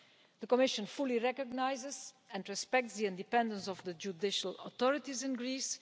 The Commission fully recognises and respects the independence of the judicial authorities in Greece.